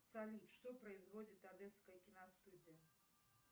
салют что производит одесская киностудия